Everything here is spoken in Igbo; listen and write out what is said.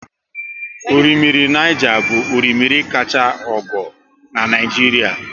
Orimmiri Niger bụ orimmiri kachaa ogo n'Naijiria